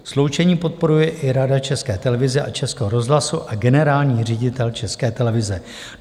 Sloučení podporuje i Rada České televize a Českého rozhlasu a generální ředitel České televize.